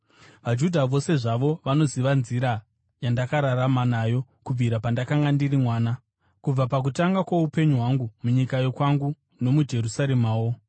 “VaJudha vose zvavo vanoziva nzira yandakararama nayo kubvira pandakanga ndiri mwana, kubva pakutanga kwoupenyu hwangu munyika yokwangu, nomuJerusaremawo.